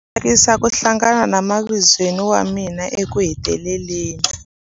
A swi tsakisa ku hlangana na mavizweni wa mina ekuheteleleni.